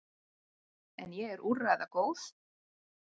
En ég er úrræðagóð.